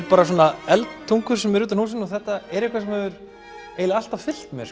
bara svona eldtungur sem eru utan á húsinu og þetta er eitthvað sem hefur eiginlega alltaf fylgt mér